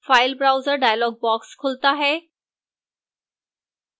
file browser dialog box खुलता है